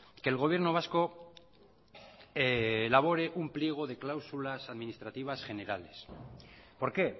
que el gobierno vasco elabore un pliego de cláusulas administrativas generales por qué